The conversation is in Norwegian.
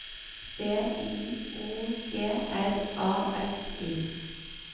B I O G R A F I